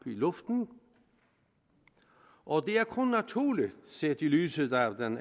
luften og det er kun naturligt set i lyset af den